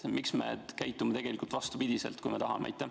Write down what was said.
Miks me käitume vastupidi?